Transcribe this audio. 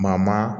Maa maa